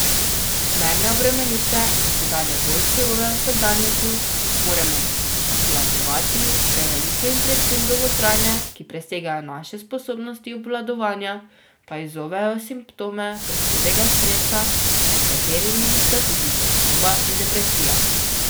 Zmerne obremenitve v čedalje bolj surovem vsakdanjiku zmoremo obvladovati, prevelike in predvsem dolgotrajne, ki presegajo naše sposobnosti obvladovanja, pa izzovejo simptome prehudega stresa, med katerimi sta tudi tesnoba in depresija.